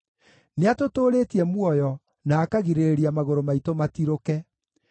nĩatũtũũrĩtie muoyo na akagirĩrĩria magũrũ maitũ matirũke.